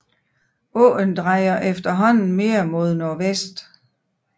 Åen drejer efterhånden mere mod nordvest